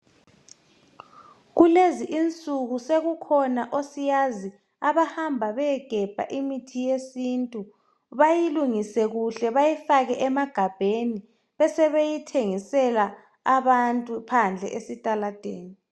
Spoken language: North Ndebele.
Kulezi insuku sekukhona osiyazi abahamba beyegebha imithi yesintu, bayilungise kuhle bayifake emagabheni besebeyithengisela abantu phandle esitaladeni.